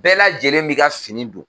Bɛɛ lajɛlen b'i ka fini don